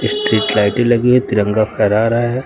Street लाइटें लगी हैं। तिरंगा फहरा रहा है।